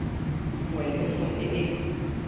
nngwe le nngwe e e